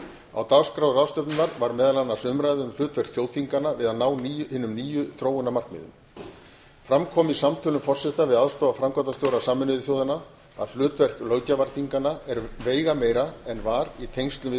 á dagskrá ráðstefnunnar var meðal annars umræða um hlutverk þjóðþinganna við að ná hinum nýju þróunarmarkmiðum fram kom í samtölum forseta við aðstoðarframkvæmdastjóra sameinuðu þjóðanna að hlutverk löggjafarþinganna er veigameira en var í tengslum